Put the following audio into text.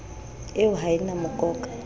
eo ha e na mokoka